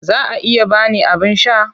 Za a iya ba ni abin sha?